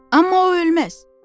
Amma o ölməz.